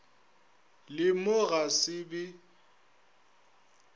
le mo ga se be